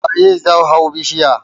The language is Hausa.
Waye zai hau bishiyar?